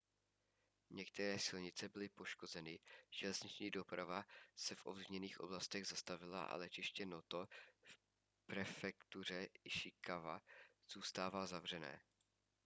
některé silnice byly poškozeny železniční doprava se v ovlivněných oblastech zastavila a letiště noto v prefektuře ishikawa zůstává zavřené